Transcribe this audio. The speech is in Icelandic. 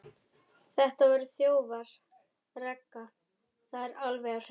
Þetta voru þjófar, Ragga, það er alveg á hreinu.